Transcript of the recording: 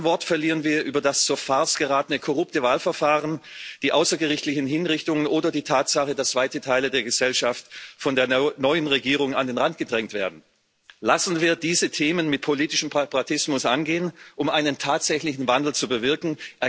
Kein Wort verlieren wir über das zur Farce geratene korrupte Wahlverfahren, die außergerichtlichen Hinrichtungen oder die Tatsache, dass weite Teile der Gesellschaft von der neuen Regierung an den Rand gedrängt werden. Lassen Sie uns diese Themen mit politischem Pragmatismus angehen, um einen tatsächlichen Wandel zu bewirken.